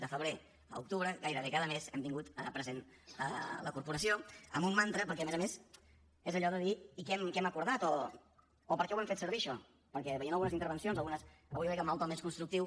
de febrer a octubre gairebé cada mes hem tingut present la corporació amb un mantra perquè a més a més és allò de dir i què hem acordat o per què ho hem fer servir això perquè veient algunes intervencions algunes avui jo crec que amb el to més constructiu